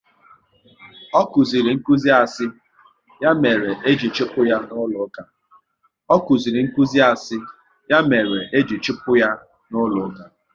Ọ kụziri nkụzi asị, ya mere e ji chụpụ ya n'ụlọ uka